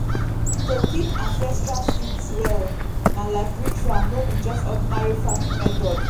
i dey hang my cowpea seeds for inside kitchen wall close to the fire place.